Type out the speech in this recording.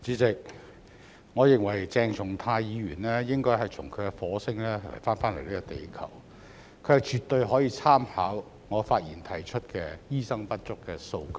代理主席，我認為鄭松泰議員應該從他的火星返回地球，他絕對可以參考我發言提出的醫生不足的數據。